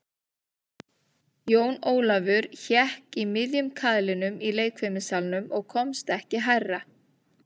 Jón Ólafur hékk í miðjum kaðlinum í leikfimissalnum og komst ekki hærra.